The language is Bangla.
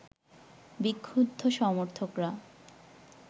বিক্ষুব্ধ সমর্থকরা